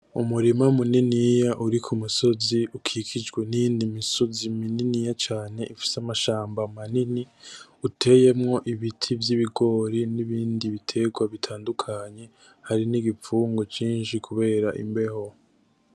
Umurima muniniya uri ku musozi ukikijwe niyindi misozi mininiya cane ifise amashamba manini uteyemwo ibiti vy'ibigori nibindi biterwa bitandukanye hari n'igipfungu cinshi kubera imbeho.